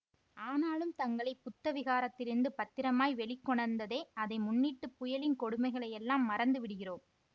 ஆனாலும் தங்களை புத்த விஹாரத்திலிருந்து பத்திரமாய் வெளிக்கொணர்ந்ததே அதை முன்னிட்டுப் புயலின் கொடுமைகளையெல்லாம் மறந்து விடுகிறோம்